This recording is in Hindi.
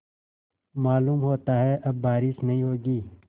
मालूम होता है अब बारिश नहीं होगी